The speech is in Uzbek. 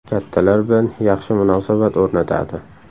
Kattalar bilan yaxshi munosabat o‘rnatadi.